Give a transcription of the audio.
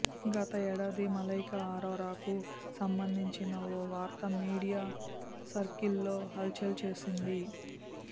గత ఏడాది మలైకా అరోరాకు సంబంధించిన ఓ వార్త మీడియా సర్కిల్స్లో హల్చల్ చేసింది